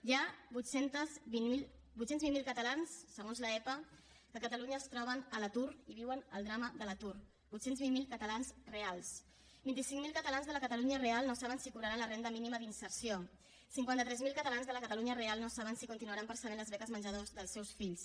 hi ha vuit cents i vint miler catalans segons l’epa que a catalunya es troben a l’atur i viuen el drama de l’atur vuit cents i vint miler catalans reals vint cinc mil catalans de la catalunya real no saben si cobraran la renda mínima d’inserció cinquanta tres mil catalans de la catalunya real no saben si continuaran percebent les beques menjador dels seus fills